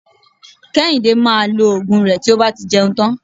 Kéhìndé maa lo Ògùn rẹ tí ó bá ti jẹun tán